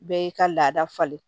Bɛɛ y'i ka laada falen